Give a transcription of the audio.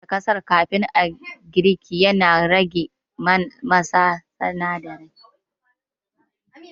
Kankare karas kafin a sa a girki yana rage masa sinadarai